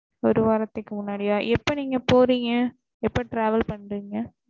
ஒரு வாரத்துக்கு முன்னாடிய்யா எப்ப நீங்க போறேங்க எப்ப travel பன்னுறேங்க